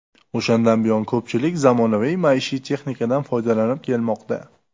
O‘shandan buyon ko‘pchilik ushbu zamonaviy maishiy texnikadan foydalanib kelmoqda.